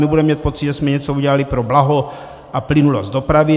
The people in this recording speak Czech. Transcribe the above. My budeme mít pocit, že jsme něco udělali pro blaho a plynulost dopravy.